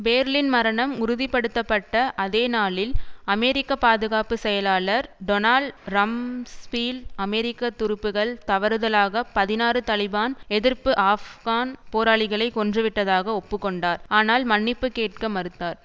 பேர்ளின் மரணம் உறுதி படுத்த பட்ட அதேநாளில் அமெரிக்க பாதுகாப்பு செயலாளர் டொனால்ட் ரம்ஸ்பீல்ட் அமெரிக்க துருப்புக்கள் தவறுதலாக பதினாறு தலிபான் எதிர்ப்பு ஆஃப்கான் போராளிகளைக் கொன்றுவிட்டதாக ஒப்பு கொண்டார் ஆனால் மன்னிப்பு கேட்க மறுத்தார்